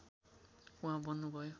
उहाँ बन्नुभयो